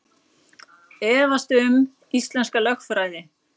Efast um íslenska lögfræði